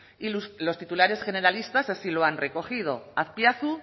y los titulares generalistas así lo han recogido azpiazu